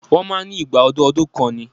Wọ́n máa ń ní igba ọdún ọdún kan ni